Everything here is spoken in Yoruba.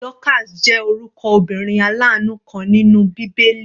Dorcas jẹ́ orúkọ obìnrin alanu kan nínú bíbélì.